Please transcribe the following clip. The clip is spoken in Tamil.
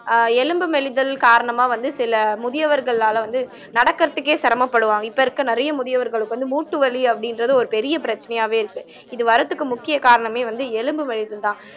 அஹ் எலும்பு மெலிதல் காரணமா வந்து சில முதியவர்களால வந்து நடக்கறதுக்கே சிரமப்படுவாங்க இப்ப இருக்கற நிறைய முதியவர்களுக்கு வந்து மூட்டு வலி அப்படின்றது ஒரு பெரிய பிரச்சனையாவே இருக்கு இது வரதுக்கு முக்கிய காரணமே வந்து எலும்பு மெலிதல்தான்